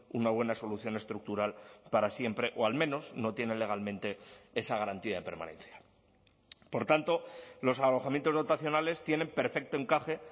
una buena solución estructural para siempre o al menos no tienen legalmente esa garantía de permanencia por tanto los alojamientos dotacionales tienen perfecto encaje